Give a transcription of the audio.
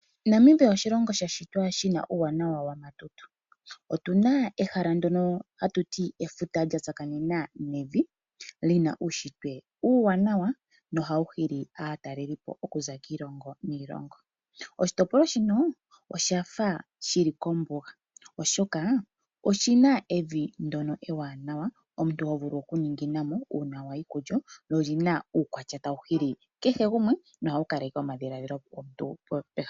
Namibia oshilongo sha shitwa shina uuwanawa wamatutu. Otu na ehala ndono hatu ti efuta lyatsakanena nevi lina uushitwe uuwanwawa nohawu hili aatalelipo okuza kiilongo niilongo. Oshitopolwa shino oshafa shili kombuga oshoka oshina evi ndono ewanawa, omuntu ho vulu okuninginamo una wayi kulyo lyo olina uukwatya tawu hili kehe gumwe nohawu kaleke omadhiladhilo gomuntu pehala.